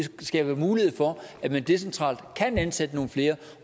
skaber mulighed for at man decentralt kan ansætte nogle flere